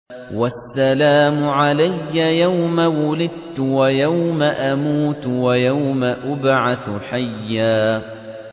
وَالسَّلَامُ عَلَيَّ يَوْمَ وُلِدتُّ وَيَوْمَ أَمُوتُ وَيَوْمَ أُبْعَثُ حَيًّا